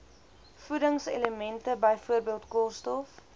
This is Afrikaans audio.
voedingselemente byvoorbeeld koolstof